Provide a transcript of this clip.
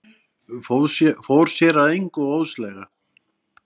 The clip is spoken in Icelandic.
Fór sér að engu óðslega.